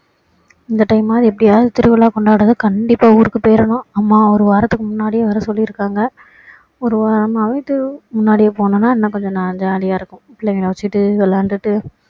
இந்த time ஆவது எப்படியாவது திருவிழா கொண்டாடுறதுக்கு கண்டிப்பா ஊருக்கு போயிடணும் அம்மா ஒரு வாரதுக்கு முன்னாடியே வர சொல்லி இருக்காங்க ஒரு night டு முன்னாடியே போனோன்னா இன்னும் கொஞ்சம் jolly யா இருக்கும் பிள்ளைங்களை வச்சிட்டு விளையாடிட்டு